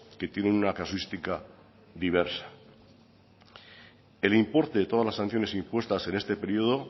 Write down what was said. que tienen una casuística diversa el importe de todas las sanciones impuestas en este periodo